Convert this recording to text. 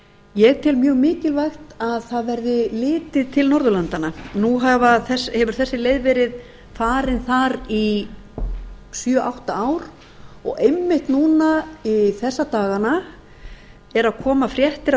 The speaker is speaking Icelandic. ég tel mjög mikilvægt að það verði litið tilbnorðurlandanna nú hefur þessi leið verið farin þar í sjö átta ár og einmitt núna þessa dagana eru að koma fréttir af